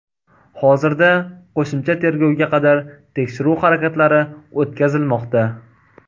Hozirda qo‘shimcha tergovga qadar tekshiruv harakatlari o‘tkazilmoqda.